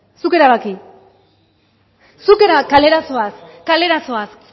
zuk erabaki zuk erabaki kalera zoaz kalera zoaz